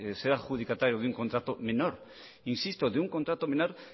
ser adjudicatario de un contrato menor insisto de un contrato menor